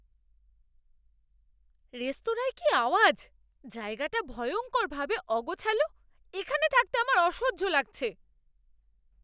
রেস্তোরাঁয় কি আওয়াজ, জায়গাটা ভয়ঙ্করভাবে অগোছালো, এখানে থাকতে আমার অসহ্য লাগছে।